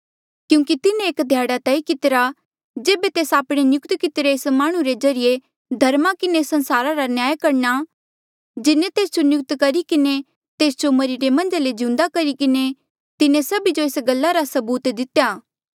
क्यूंकि तिन्हें एक ध्याड़ा तय कितिरा जेबे तेस आपणे नियुक्त कितिरे एक माह्णुं रे ज्रीए धर्मा किन्हें संसारा रा न्याय करणा जिन्हें तेस जो नियुक्त करी किन्हें तेस जो मरिरे मन्झा ले जिउंदा करी किन्हें तिन्हें सभी जो एस गल्ला रा सबूत दितेया